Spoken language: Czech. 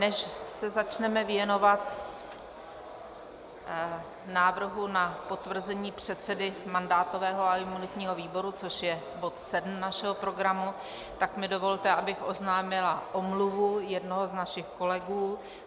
Než se začneme věnovat návrhu na potvrzení předsedy mandátového a imunitního výboru, což je bod 7 našeho programu, tak mi dovolte, abych oznámila omluvu jednoho z našich kolegů.